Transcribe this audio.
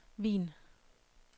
Wien